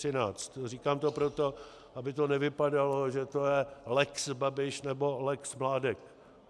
Říkám to proto, aby to nevypadalo, že je to lex Babiš nebo lex Mládek.